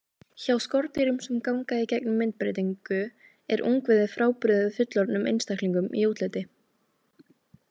Hjá skordýrum sem ganga í gegnum myndbreytingu er ungviðið frábrugðið fullorðnum einstaklingum í útliti.